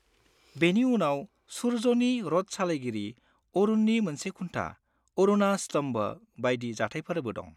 बेनि उनाव सूर्यनि रथ सालायगिरि अरुणनि मोनसे खुन्था अरुणा स्तम्भ बायदि जाथायफोरबो दं।